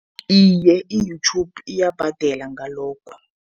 Iye, i-YouTube iyabhadela ngalokho.